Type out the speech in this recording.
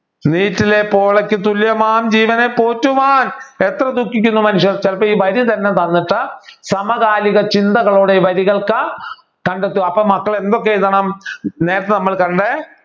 നീറ്റിലെപോളയ്ക്കു തുല്യമാം ജീവനെ പോറ്റുവാൻ എത്ര ദുഖിക്കുന്നു മനുഷ്യൻ ചിലപ്പോ ഈ വരി തന്നെ തന്നിട്ട് സമകാലിക ചിന്തകളോട് ഈ വരികൾക്ക് കണ്ടെത്തുക അപ്പോൾ മക്കളെ എന്തൊക്കെ എഴുതണം നേരത്തെ നമ്മൾ കണ്ട